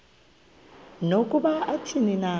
nokuba athini na